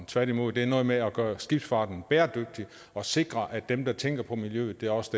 tværtimod noget med at gøre skibsfarten bæredygtig og sikre at dem der tænker på miljøet også